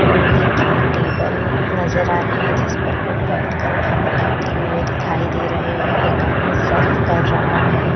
लोहे की टेबल नजर आ रहे हैं जिस पर लोग बैठकर खाना खाते हुए दिखाई दे रहे हैं। एक आदमी सर्व कर रहा है।